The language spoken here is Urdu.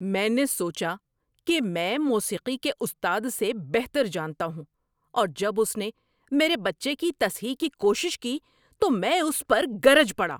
میں نے سوچا کہ میں موسیقی کے استاد سے بہتر جانتا ہوں اور جب اس نے میرے بچے کی تصحیح کی کوشش کی تو میں اس پر گرج پڑا۔